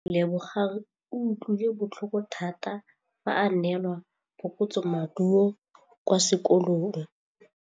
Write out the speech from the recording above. Lebogang o utlwile botlhoko tota fa a neelwa phokotsômaduô kwa sekolong.